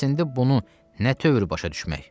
Bəs indi bunu nə tövr başa düşmək?